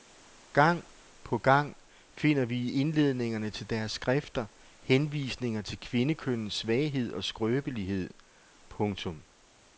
Gang på gang finder vi i indledningerne til deres skrifter henvisninger til kvindekønnets svaghed og skrøbelighed. punktum